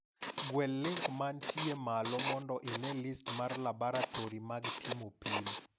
Gwel link mantie malo mondo ine list mar laboratori mag timo pim.